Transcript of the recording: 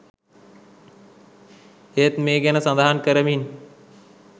ඒත් මේ ගැන සඳහන් කරමින්